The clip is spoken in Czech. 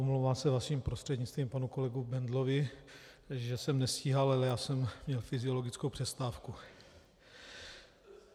Omlouvám se vaším prostřednictvím panu kolegu Bendlovi, že jsem nestíhal, ale já jsem měl fyziologickou přestávku.